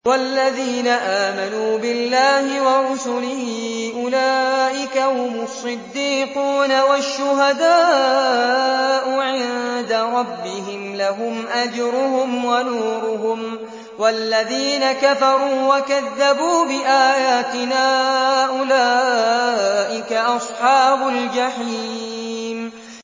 وَالَّذِينَ آمَنُوا بِاللَّهِ وَرُسُلِهِ أُولَٰئِكَ هُمُ الصِّدِّيقُونَ ۖ وَالشُّهَدَاءُ عِندَ رَبِّهِمْ لَهُمْ أَجْرُهُمْ وَنُورُهُمْ ۖ وَالَّذِينَ كَفَرُوا وَكَذَّبُوا بِآيَاتِنَا أُولَٰئِكَ أَصْحَابُ الْجَحِيمِ